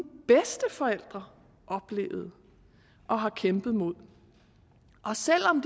bedsteforældre oplevede og har kæmpet mod og selv om